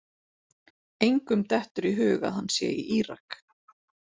Engum dettur í hug að hann sé í Írak.